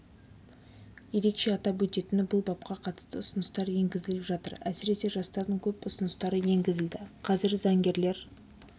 ерекше атап өтетіні бұл бапқа қатысты ұсыныстар енгізіліп жатыр әсіресе жастардың көп ұсыныстары енгізілді қазір заңгерлер